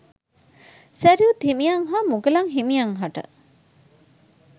සැරියුත් හිමියන් හා මුගලන් හිමියන් හට